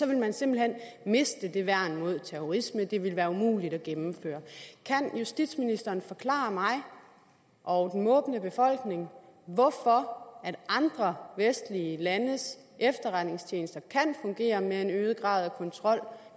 man simpelt hen miste det værn mod terrorisme det ville være umuligt at gennemføre kan justitsministeren forklare mig og den måbende befolkning hvorfor andre vestlige landes efterretningstjenester kan fungere med en øget grad af kontrol